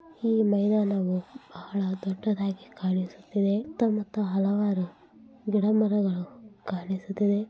ಈ ಮೈದಾನವು ಬಹಳ ದೊಡ್ಡದಾಗಿ ಕಾಣಿಸುತ್ತಿದೆ. ಸುತ್ತ ಮುತ್ತ ಹಲವಾರು ಗಿಡ ಮರಗಳು--